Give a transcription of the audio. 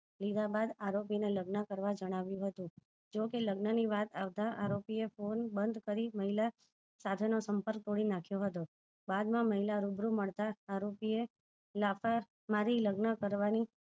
લીધા બાદ આરોપી ને લગન કરવા જણાવ્યું હતું જોકે લગન ની વાત આવતા આરોપી એ ફોને બંદ કરી મહિલા સાથે નો સંપર્ક તોડી નાખ્યો હતો બાદ માં મહિલા રુબરુ મળતા આરોપીએ લાફા મારી લગન કરવાની